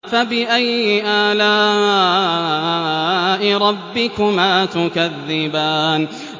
فَبِأَيِّ آلَاءِ رَبِّكُمَا تُكَذِّبَانِ